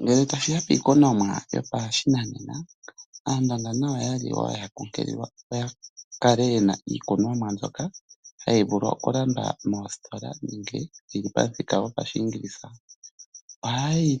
Ngele tashi ya piikunomwa yopashinanena Aandonga nayo wo oya li ya kunkililwa opo ya kale ye na iikunomwa mbyoka hayi vulu okulandwa moositola nenge yi li pamuthika gopaShiingilisa. Ohaye yi